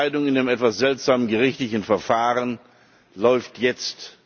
Denn die Entscheidung in dem etwas seltsamen gerichtlichen Verfahren läuft jetzt.